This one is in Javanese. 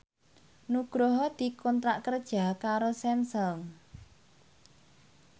Nugroho dikontrak kerja karo Samsung